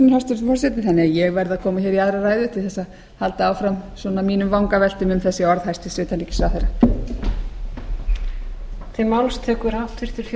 þannig að ég verð að koma hér í aðra ræðu til þess að halda áfram mínum vangaveltum um þessi orð hæstvirts utanríkisráðherra